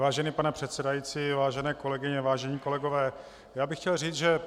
Vážený pane předsedající, vážené kolegyně, vážení kolegové, já bych chtěl říct, že